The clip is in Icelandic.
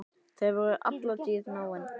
Þau voru alla tíð náin.